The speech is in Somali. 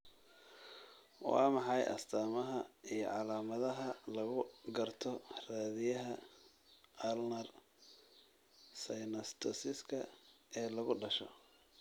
Waa maxay astamaha iyo calaamadaha lagu garto raadiyaha ulnar synnostosiska ee lagu dhasho?